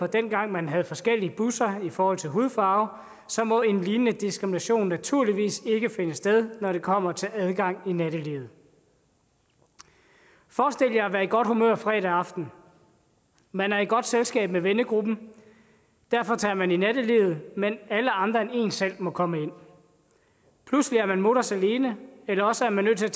dengang man havde forskellige busser i forhold til hudfarve så må en lignende diskrimination naturligvis ikke finde sted når det kommer til adgang i nattelivet forestil jer at være i godt humør fredag aften man er i godt selskab med vennegruppen og derfor tager man ud i nattelivet men alle andre end en selv må komme ind pludselig er man mutters alene eller også er man nødt til at